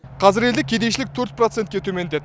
қазір елде кедейшілік төрт процентке төмендеді